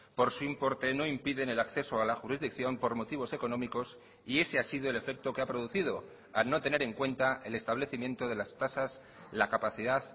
por su importe no impiden el acceso a la jurisdicción por motivos económicos y ese ha sido el efecto que ha producido al no tener en cuenta el establecimiento de las tasas la capacidad